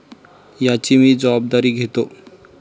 याची मी जबाबदारी घेतो.